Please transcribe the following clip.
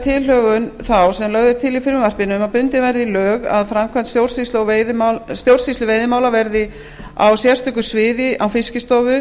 tilhögun þá sem lögð er til í frumvarpinu um að bundið verði í lög að framkvæmd stjórnsýslu veiðimála verði á sérstöku sviði á fiskistofu